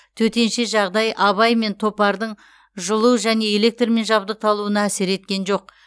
төтенше жағдай абай мен топардың жылу және электрмен жабдықталуына әсер еткен жоқ